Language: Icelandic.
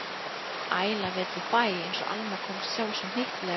Æla vetur úr bæ, einsog Alma komst sjálf svo hnyttilega að orði.